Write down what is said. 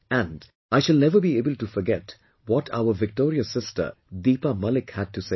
And, I shall never be able to forget what our victorious sister Deepa Malik had to say